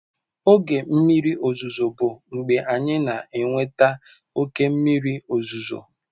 Oge mmiri ozuzo bụ mgbe anyị na-enweta oke mmiri ozuzo.